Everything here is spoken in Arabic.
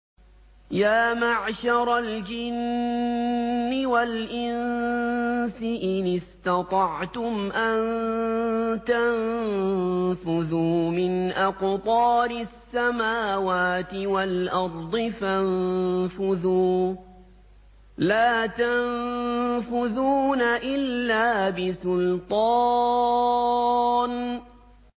يَا مَعْشَرَ الْجِنِّ وَالْإِنسِ إِنِ اسْتَطَعْتُمْ أَن تَنفُذُوا مِنْ أَقْطَارِ السَّمَاوَاتِ وَالْأَرْضِ فَانفُذُوا ۚ لَا تَنفُذُونَ إِلَّا بِسُلْطَانٍ